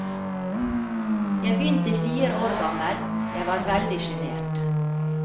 Jeg begynte fire år gammel, jeg var veldig sjenert.